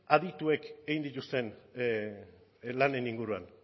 adituek egin dituzten lanen inguruan